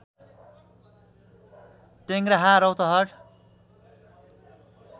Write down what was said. Tengraha Rautahat